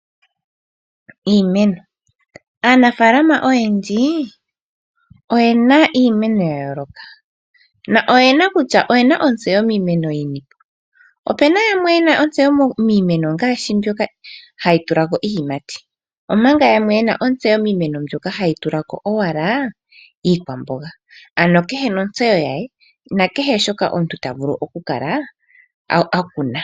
Aanafaalama oyendji oyena iimeno yayooloka, noyena kutya oyena ontseyo yini . Opuna yamwe yena ontseyo miimeno ngaashi mbyoka hayi tulako iiyimati, omanga yamwe yena ontseyo miimeno mbyoka hayi tulako iikwamboga owala , ano kehe gumwe nontseyo ye naashoka ena okukala akuna.